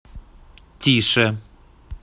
тише